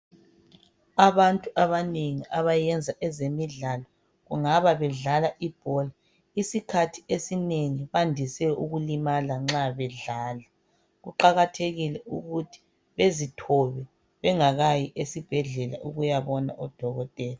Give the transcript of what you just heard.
Abantu abanengi abayenza ezemidlalo kungaba bedlala ibhola, isikhathi esinengi bandise ukulimala nxa bedlala. Kuqakathekile ukuthi bezithobe bengakayi esibhedlela ukuyabona udokotela.